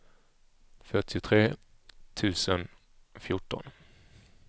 fyrtiotre tusen fjorton